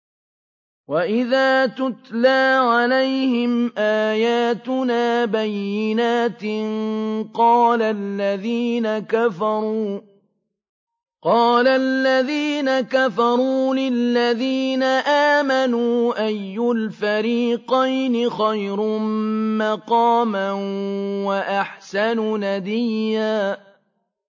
وَإِذَا تُتْلَىٰ عَلَيْهِمْ آيَاتُنَا بَيِّنَاتٍ قَالَ الَّذِينَ كَفَرُوا لِلَّذِينَ آمَنُوا أَيُّ الْفَرِيقَيْنِ خَيْرٌ مَّقَامًا وَأَحْسَنُ نَدِيًّا